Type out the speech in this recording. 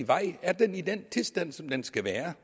vej er den i den tilstand som den skal være